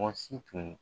Mɔgɔ si tun